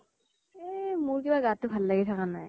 এহ মোৰ কিবা গাতো ভাল লাগি থাকা নাই।